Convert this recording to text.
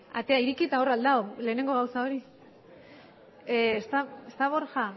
atea ireki eta hor al dago lehengo gauza hori está borja